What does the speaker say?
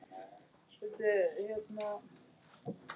Það vissi hún vel.